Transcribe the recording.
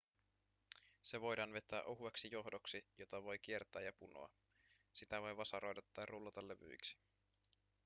se voidaan vetää ohueksi johdoksi jota voi kiertää ja punoa sitä voi vasaroida tai rullata levyiksi